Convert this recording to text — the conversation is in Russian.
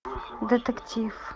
детектив